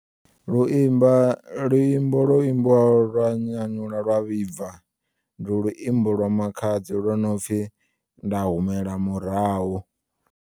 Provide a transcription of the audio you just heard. Luimba luimbo lwo imbiwaho lwa nyanyula lwa vhibva ndi luimbo lwa makhadzi lwo nopfi nda humela murahu.